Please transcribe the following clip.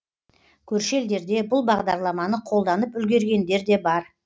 көрші елдерде бұл бағдарламаны қолданып үлгергендер де бар